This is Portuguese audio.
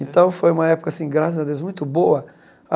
Então foi uma época, assim graças a Deus, muito boa.